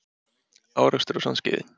Árekstur á Sandskeiði